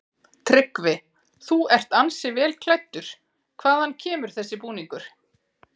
Tryggvi: Þú ert ansi vel klæddur, hvaðan kemur þessi búningur?